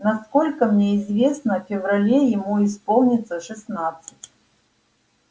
насколько мне известно в феврале ему исполнится шестнадцать